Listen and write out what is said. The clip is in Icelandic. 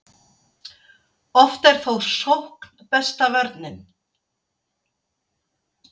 oft er þó sókn besta vörnin